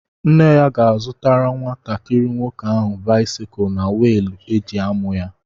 Nne ya ga-azụtara nwatakịrị nwoke áhù báịsikụ na wịịlụ e ji ámụ̀ ya